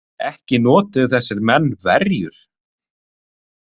Ekki notuðu þessir menn verjur.